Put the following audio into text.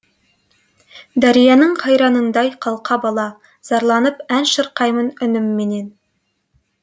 дарияның қайраңындай қалқа бала зарланып ән шырқаймын үнімменен